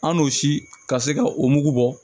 An n'o si ka se ka o mugu bɔ